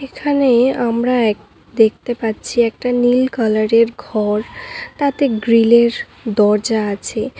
এখানে আমরা এক দেখতে পাচ্ছি একটা নীল কালারের ঘর তাতে গ্রিলের দরজা আছে।